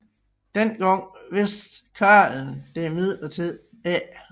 Denne gang vidste karlen det imidlertid ikke